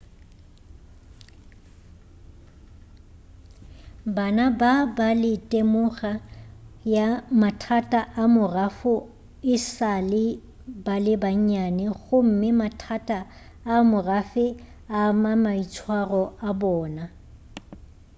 bana ba ba le temoga ya mathata a morafo e sa le ba bannyane gomme mathata a a morafe a ama maitshwaro a bona